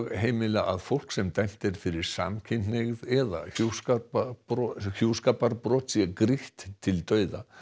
heimila að fólk sem dæmt er fyrir samkynhneigð eða hjúskaparbrot hjúskaparbrot sé grýtt til dauða